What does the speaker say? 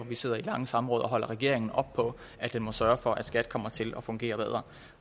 vi sidder i lange samråd og holder regeringen op på at den må sørge for at skat kommer til at fungere bedre